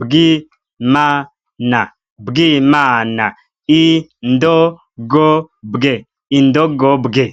bwi ma na, bwimana, i ndo go bwe, indogobwe.